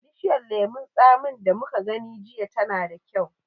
Bishiyar lemon tsamin da muka gani jiya tana da kyau.